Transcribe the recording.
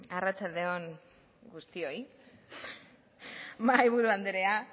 arratsalde on guztioi mahaiburu anderea